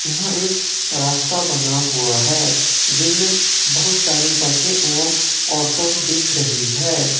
यहां एक रास्ता बना हुआ है जिनमें बहुत सारी बसे एवं ऑटो दिख रही है।